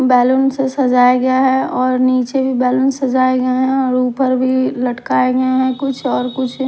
balloon से सजाया गया है और नीचे भी बैलून सजाए गया हैं और ऊपर भी लटकाए गए हैं कुछ और कुछ --